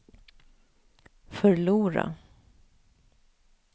förlora